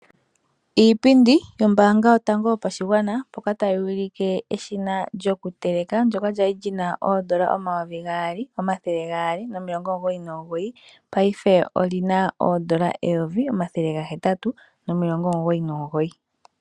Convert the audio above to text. Iipindi yombaanga yotango yopashigwana mpoka tayuulike eshina lyokuteleka ndyoka lyali lyina oondola omayovi gaali, omathele gaali nomilongo omugoyi nomugoyi paife olina oondola eyomvi , omathele gahetatu nomilongo omugoyi nomugoyi